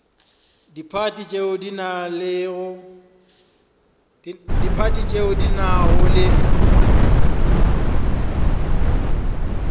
diphathi tšeo di nago le